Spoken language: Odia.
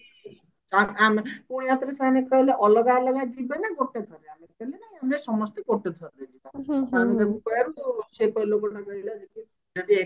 ଆଁ ଆମେ ପୁଣି ଆଉ ଥରେ ସେମାନେ କହିଲେ ଅଲଗା ଅଲଗା ଯିବେ ନା ଗୋଟେ ଥର ଆମେ କହିଲୁ ନାଇଁ ଆମେ ସମସ୍ତେ ଗୋଟେ ଥରରେ ଯିବା ଯଦି